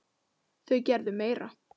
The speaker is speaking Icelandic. Þau gerðu meira.